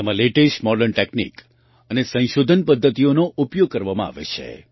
તેમાં latest modern technique અને સંશોધન પદ્ધતિઓનો ઉપયોગ કરવામાં આવે છે